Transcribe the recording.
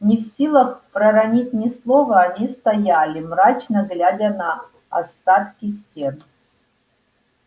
не в силах проронить ни слова они стояли мрачно глядя на остатки стен